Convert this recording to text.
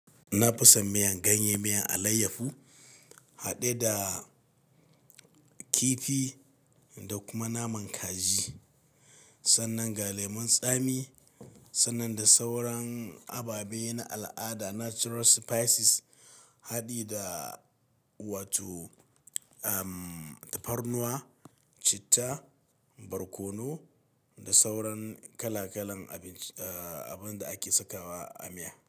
Na fi son miyan ganye, miyan alayyafu haɗe da kifi da kuma naman kaji. Sannan ga lemon tsami, sannan da sauran ababe na al'ada natural spices haɗe da wato, um, tafarnuwa, citta, barkono da sauran kala-kalan abin, abin da ake sakawa a miya.